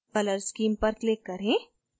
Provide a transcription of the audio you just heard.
color scheme पर click करें